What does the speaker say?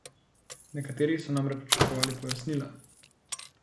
Nekateri so namreč pričakovali pojasnila.